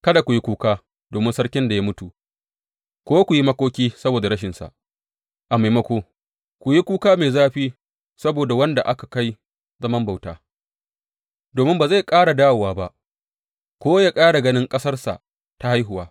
Kada ku yi kuka domin sarkin da ya mutu ko ku yi makoki saboda rashinsa; a maimako, ku yi kuka mai zafi saboda wanda aka kai zaman bauta, domin ba zai ƙara dawowa ba ko ya ƙara ganin ƙasarsa ta haihuwa.